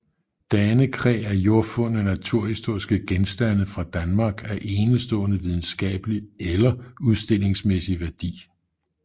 Danekræ er jordfundne naturhistoriske genstande fra Danmark af enestående videnskabelig eller udstillingsmæssig værdi